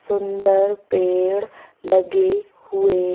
सुंदर पेड़ लगे हुए--